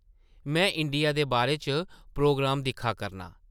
में इंडिया दे बारे च प्रोग्राम दिक्खा करनां ।